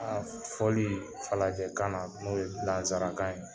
A fɔli farajɛkan na n'o ye nansarakan ye